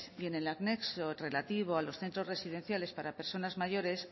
y en el anexo relativo a los centros residenciales para personas mayores